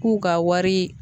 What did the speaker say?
K'u ka wari